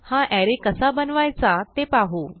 हा अरे कसा बनवायचा ते पाहू